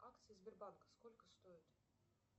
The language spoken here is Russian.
акции сбербанка сколько стоят